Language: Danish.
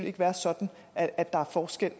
ikke være sådan at at der er forskel